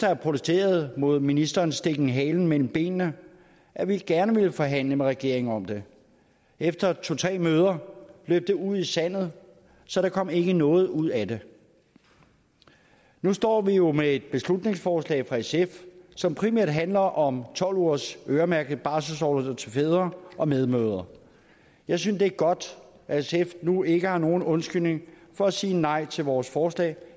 have protesteret mod ministerens stikken halen mellem benene at vi gerne ville forhandle med regeringen om det efter to tre møder løb det ud i sandet så der kom ikke noget ud af det nu står vi jo med et beslutningsforslag fra sf som primært handler om tolv ugers øremærket barselsorlov til fædre og medmødre jeg synes det er godt at sf nu ikke har nogen undskyldning for at sige nej til vores forslag